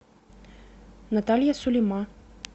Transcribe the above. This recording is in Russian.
наталья сулима